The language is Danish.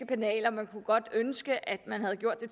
banalt og man kunne godt ønske at man havde gjort det